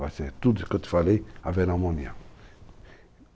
Vai ser tudo o que eu te falei, haverá uma união.